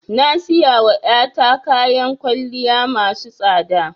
Na siyawa ya ta kyawan kwalliya masu tsada